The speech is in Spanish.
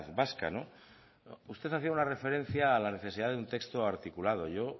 vasca no usted hacia una referencia a la necesidad de un texto articulado yo